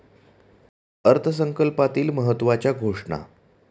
अर्थसंकल्पातील महत्त्वाच्या घोषणा.